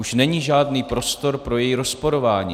Už není žádný prostor pro její rozporování.